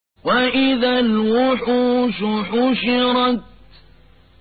وَإِذَا الْوُحُوشُ حُشِرَتْ